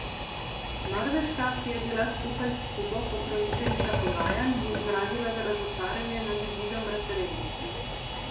Norveška, ki je bila skupaj s Kubo pokroviteljica pogajanj, je izrazila razočaranje nad izidom referenduma.